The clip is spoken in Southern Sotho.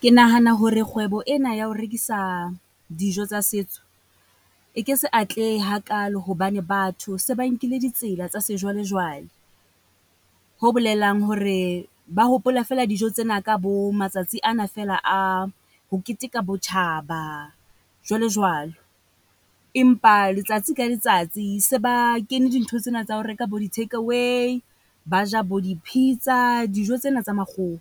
Ke nahana hore kgwebo ena ya ho rekisa dijo tsa setso, e ke se atlehe hakalo, hobane batho se ba nkile ditsela tsa sejwalejwale. Ho bolelang hore ba hopola feela dijo tsena ka bo matsatsi ana feela a ho keteka botjhaba jwalo jwalo. Empa letsatsi ka letsatsi se ba kene dintho tsena tsa ho reka bo di-take away. Ba ja bo di-pizza, dijo tsena tsa makgowa,